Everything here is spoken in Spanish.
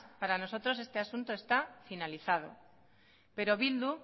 para nosotros este asunto está finalizado pero bildu